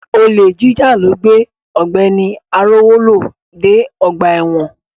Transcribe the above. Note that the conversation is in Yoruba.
Olè jíjà ló gbé Ọ̀gbẹ́ni Arówólò dé ọgbà ẹ̀wọ̀n.